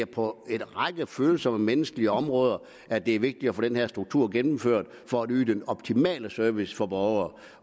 det på en række følsomme menneskelige områder er vigtigt at få den her struktur gennemført for at yde den optimale service for borgere